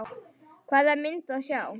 Hvaða mynd á að sjá?